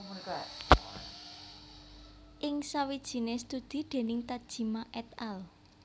Ing sawijine studi déning Tajima et al